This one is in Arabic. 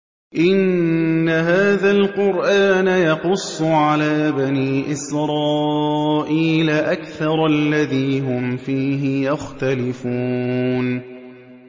إِنَّ هَٰذَا الْقُرْآنَ يَقُصُّ عَلَىٰ بَنِي إِسْرَائِيلَ أَكْثَرَ الَّذِي هُمْ فِيهِ يَخْتَلِفُونَ